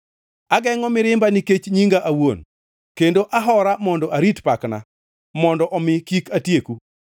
Agengʼo mirimba nikech nyinga awuon; kendo ahora mondo arit pakna, mondo omi kik atieku.